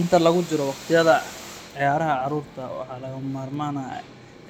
Inta lagu jiro waqtiyada ciyaaraha carruurta, waxaa lagama maarmaan ah